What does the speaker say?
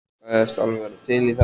Sagðist alveg vera til í það.